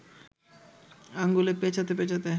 আঙুলে পেঁচাতে পেঁচাতে